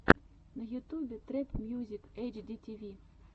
на ютубе трэп мьюзик эйч ди ти ви